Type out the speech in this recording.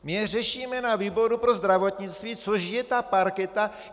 My je řešíme na výboru pro zdravotnictví, což je ta parketa.